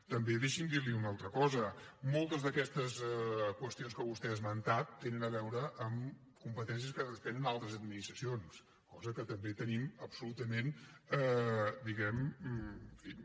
també deixi’m dir li una altra cosa moltes d’aquestes qüestions que vostè ha esmentat tenen a veure amb competències que tenen altres administracions cosa que també tenim absolutament diguem ne